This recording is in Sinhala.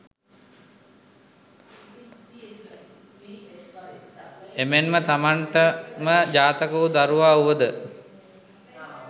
එමෙන් ම තමන්ට ම ජාතක වු දරුවා වුව ද